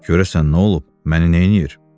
Görəsən nə olub, məni neynir?